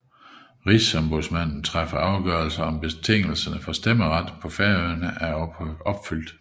Rigsombudsmanden træffer afgørelse om betingelserne for stemmeret på Færøerne er opfyldt